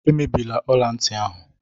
Emebila ọla ntị ahụ!